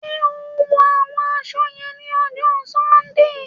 Ṣe o ń wọ awọn aṣọ wọnyẹn ni ọjọ Sundee?